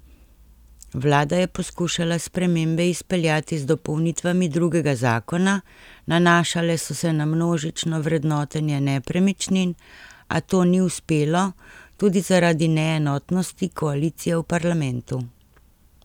Vlada je poskušala spremembe izpeljati z dopolnitvami drugega zakona, nanašale so se na množično vrednotenje nepremičnin, a to ni uspelo, tudi zaradi neenotnosti koalicije v parlamentu.